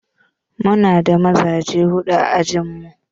Mu na da mazaje huɗu a ajin mu.